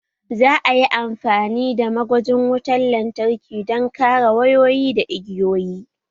Za a yi amfani da ma gwajin wutar lantarki don kare wayoyi da igiyoyi